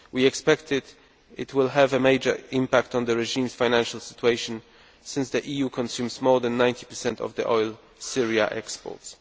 We expect it will have a major impact on the regime's financial situation, since the EU consumes more than 90 of the oil Syria exports.